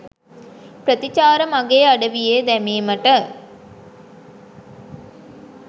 ප්‍රතිචාර මගේ අඩවියේ දැමීමට